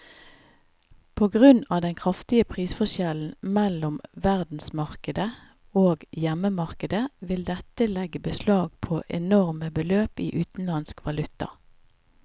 På grunn av den kraftige prisforskjellen mellom verdensmarkedet og hjemmemarkedet vil dette legge beslag på enorme beløp i utenlandsk valuta.